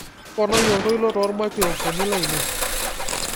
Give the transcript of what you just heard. toponai oltoilo toolmaikirofoni lainei